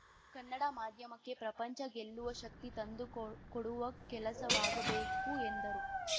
ಕನ್ನಡ ಮಾಧ್ಯಮಕ್ಕೆ ಪ್ರಪಂಚ ಗೆಲ್ಲುವ ಶಕ್ತಿ ತಂದುಕೊಕೊಡುವ ಕೆಲಸವಾಗಬೇಕು ಎಂದರು